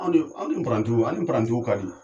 An ni parantiw ani parantiw ka di.